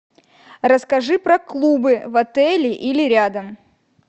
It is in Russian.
расскажи про клубы в отеле или рядом